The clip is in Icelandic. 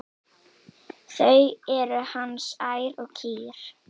Þau eru hans ær og kýr.